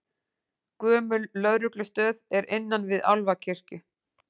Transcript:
Gömul lögreglustöð er innan við Álfakirkju